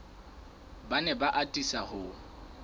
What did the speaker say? ba ne ba atisa ho